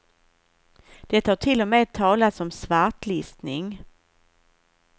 Det har till och med talats om svartlistning.